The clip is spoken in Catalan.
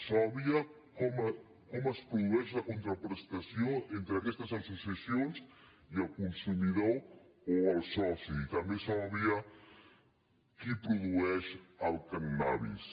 s’obvia com es produeix la contraprestació entre aquestes associacions i el consumidor o el soci i també s’obvia qui produeix el cànnabis